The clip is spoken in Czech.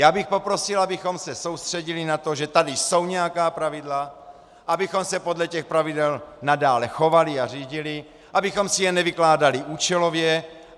Já bych poprosil, abychom se soustředili na to, že tady jsou nějaká pravidla, abychom se podle těch pravidel nadále chovali a řídili, abychom si je nevykládali účelově.